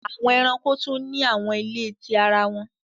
Awọn ẹranko tun ni awọn ile ti ara wọn